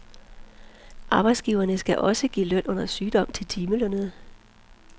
Arbejdsgiverne skal også give løn under sygdom til timelønnede.